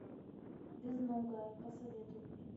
безногая посоветуй мне